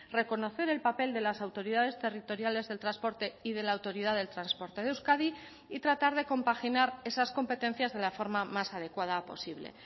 reconocer el papel de las autoridades territoriales del transporte y de la autoridad del transporte de euskadi y tratar de compaginar esas competencias de la forma más adecuada posible